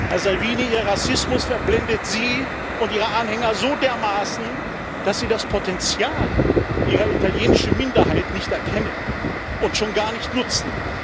Herr Salvini, Ihr Rassismus verblendet Sie und Ihre Anhänger so dermaßen, dass Sie das Potenzial Ihrer italienischen Minderheit nicht erkennen und schon gar nicht nutzen!